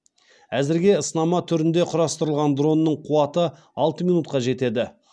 әзірге сынама түрінде құрастырылған дронның қуаты алты минутқа жетеді